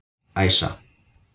Æsa